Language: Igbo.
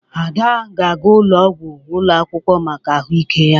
Ada ga-aga ụlọ ọgwụ ụlọ akwụkwọ maka ahụike ya.